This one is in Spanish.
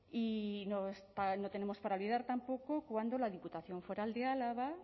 y no tenemos para olvidar tampoco cuando la diputación foral de álava